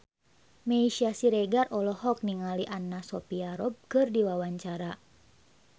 Meisya Siregar olohok ningali Anna Sophia Robb keur diwawancara